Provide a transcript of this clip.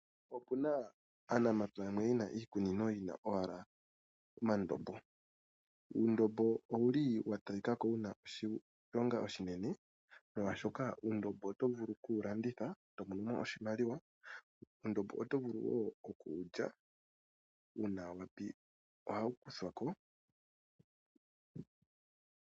Opuna aanafalama yamwe yena iikunino yina ashike uundombo, uundombo owuli wa talikako wuna oshilonga moshigwana molwaashoka oto vulu kuwulanditha eto mono oshimaliwa, ohawu kuthwako uuna wapya etawu liwa wo.